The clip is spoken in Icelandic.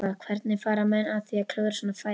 Hvernig fara menn að því að klúðra svona færi?